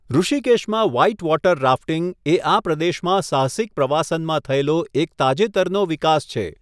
ઋષિકેશમાં whitewater rafting એ આ પ્રદેશમાં સાહસિક પ્રવાસનમાં થયેલો એક તાજેતરનો વિકાસ છે.